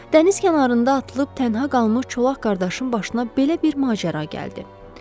Dəniz kənarında atılıb tənha qalmış çolaq qardaşın başına belə bir macəra gəldi.